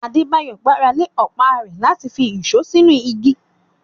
Adebayo gbára lé ọ̀pá rẹ̀ láti fi ìṣó sínú igi.